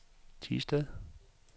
Thisted